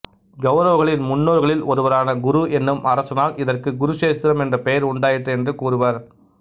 கௌரவர்களின் முன்னோர்களில் ஒருவரான குரு என்னும் அரசனால் இதற்கு குருக்ஷேத்திரம் என்ற பெயர் உண்டாயிற்று என்று கூறுவர்